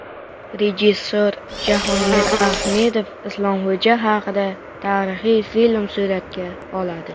Rejissor Jahongir Ahmedov Islomxo‘ja haqida tarixiy film suratga oladi.